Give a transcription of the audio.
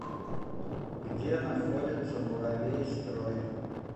где находится муравейстрой